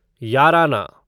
याराना